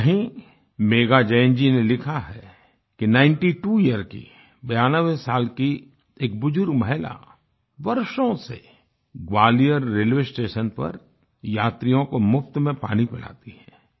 वहीं मेघा जैन जी ने लिखा है कि नाइनटी त्वो यियर की 92 साल की एक बुजुर्ग महिला वर्षों से ग्वालियर रेलवे स्टेशन पर यात्रियों को मुफ्त में पानी पिलाती है